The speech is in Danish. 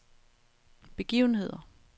begivenheder